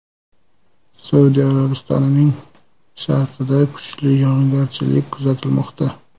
Saudiya Arabistonining sharqida kuchli yog‘ingarchilik kuzatilmoqda.